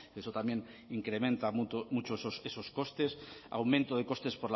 que eso también incrementa mucho esos costes aumento de costes